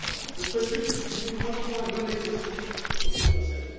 Je souhaite juste souligner deux points non exhaustifs sur ce concept.